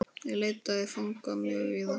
Ég leitaði fanga mjög víða.